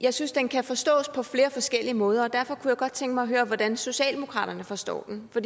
jeg synes den kan forstås på flere forskellige måder og derfor kunne jeg godt tænke mig at høre hvordan socialdemokratiet forstår den for